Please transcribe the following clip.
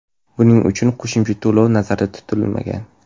Buning uchun qo‘shimcha to‘lov nazarda tutilmagan.